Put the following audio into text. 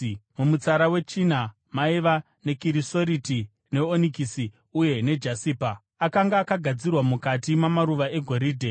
mumutsara wechina maiva nekirisoriti, neonikisi uye nejasipa. Akanga akagadzirwa mukati mamaruva egoridhe.